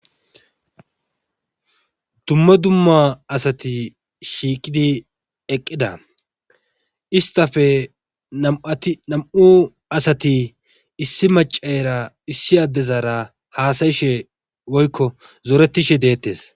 Dumma dumma asati shiiqid eqida , istappe nam'u asati issi macayra issi adera hasa'ishe woyko zoretishe de'etes.